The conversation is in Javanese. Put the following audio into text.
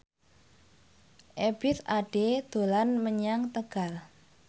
Ebith Ade dolan menyang Tegal